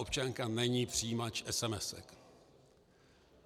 Občanka není přijímač esemesek.